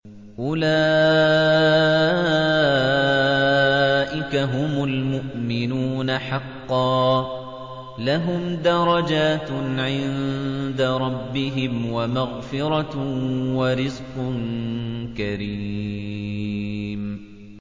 أُولَٰئِكَ هُمُ الْمُؤْمِنُونَ حَقًّا ۚ لَّهُمْ دَرَجَاتٌ عِندَ رَبِّهِمْ وَمَغْفِرَةٌ وَرِزْقٌ كَرِيمٌ